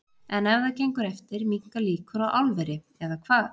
En ef það gengur eftir minnka líkur á álveri, eða hvað?